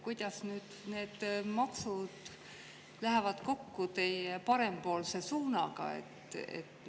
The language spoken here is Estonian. Kuidas lähevad need maksud kokku teie parempoolse suunaga?